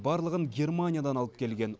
барлығын германиядан алып келген